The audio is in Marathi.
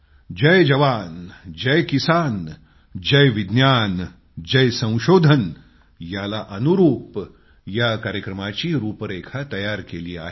जय जवान जय किसान जय विज्ञान जय संशोधन याला अनुरूप या कार्यक्रमाची रूपरेखा तयार केली आहे